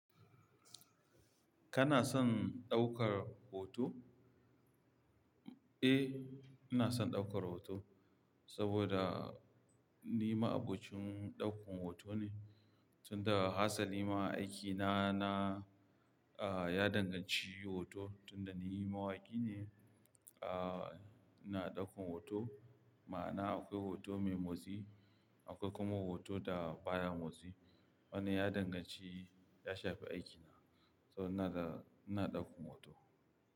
Kana son ɗaukar hoto? Eh, ina son ɗaukar hoto saboda ni ma'abocin ɗaukan hoto ne. Tun daga hatsali ma aikina na, ya danganci hoto tun da ni mawaƙi ne. Ina ɗaukan hoto ma'ana akwai hoto mai motsi akwai kuma hoto da baya motsi. Wannan ya danganci ya shafi aikina, so ina da-- ina ɗaukan hoto.